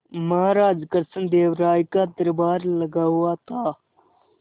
महाराज कृष्णदेव राय का दरबार लगा हुआ था